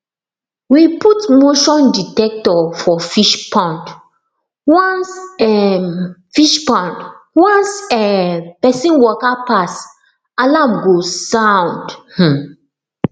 we put motion dectector for fishpond once um fishpond once um person waka pass alarm go sound um